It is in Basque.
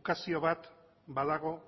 ukazio bat badago